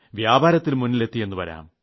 വ്യാപാരത്തിൽ മുന്നിലെത്തിയെന്നു വരാം